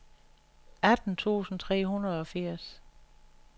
atten tusind tre hundrede og firs